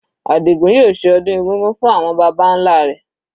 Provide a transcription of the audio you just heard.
Adigun yóò ṣe ọdún egúngún fún àwọn baba nlá rẹ̀.